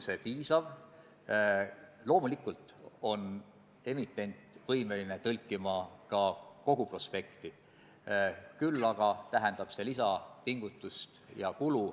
Sest ega tegelikult väga rahul olla ei saa sellega, et erivajadustega inimeste vajadustega tegelemine on jälle viis aastat edasi lükatud.